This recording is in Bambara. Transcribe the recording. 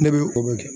Ne bɛ o bɛ kɛ